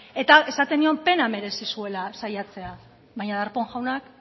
eta esaten nion pena merezi zuela saiatzea baina darpón jaunak